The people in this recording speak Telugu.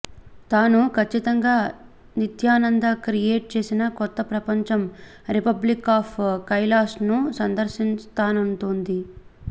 తాను కచ్చితంగా నిత్యానంద క్రియేట్ చేసిన కొత్త ప్రపంచం రిపబ్లిక్ ఆఫ్ కైలాస్ను సందర్శిస్తానంటోంది